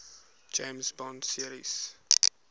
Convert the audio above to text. james bond series